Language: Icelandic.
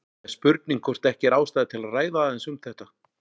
Það er spurning hvort ekki er ástæða til að ræða aðeins um þetta.